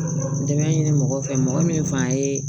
N dɛmɛ ɲini mɔgɔ fɛ mɔgɔ min fan ye